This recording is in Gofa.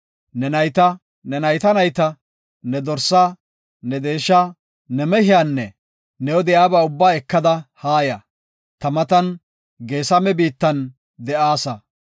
Ne nayta, ne nayta nayta, ne dorsaa, ne deesha, ne mehiyanne new de7iyaba ubbaa ekada haaya; ta matan Geesame biittan de7aasa.